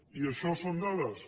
i això són dades